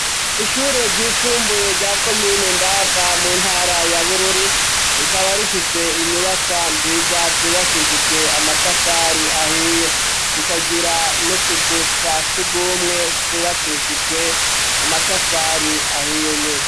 Ishure ryisumbuye rya komine ndava mu ntara ya bururi rikaba rifise inyubakwa nziza zubakishijwe amatafari ahiye zikagira n'utuzu twa sugumwe twubakishijwe amatafari ahiye nyene.